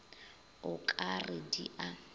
o ka re di a